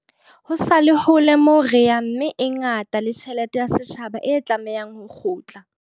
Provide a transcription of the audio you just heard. Ho sa le hole moo re yang mme e ngata le tjhelete ya setjhaba e tlamehang ho kgutla.